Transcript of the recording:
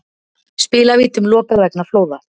Spilavítum lokað vegna flóða